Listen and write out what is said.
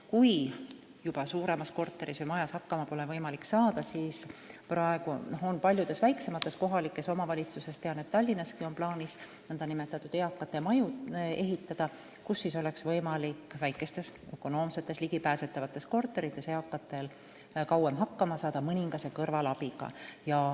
Kui suuremas korteris või majas pole võimalik enam ise toime tulla, siis praegu on paljudes väiksemates kohalikes omavalitsustes – tean, et Tallinnaski – plaanis ehitada nn eakate maju, kus inimestel oleks võimalik väikestes, ökonoomsetes ja ligipääsetavates korterites kauem hakkama saada mõningase kõrvalabiga.